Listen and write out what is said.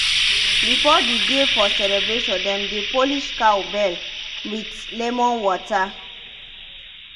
before the day for celebration dem dey polish cow bell with lemon water.